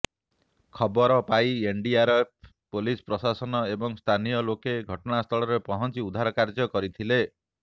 ଖବର ପାଇ NDRF police ପ୍ରଶାସନ ଏବଂ ସ୍ଥାନୀୟ ଲୋକେ ଘଟଣାସ୍ଥଳରେ ପହଞ୍ଚି ଉଦ୍ଧାର କାର୍ଯ୍ୟ କରିଥିଲେ